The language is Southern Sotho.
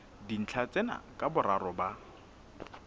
dintlha tsena ka boraro ba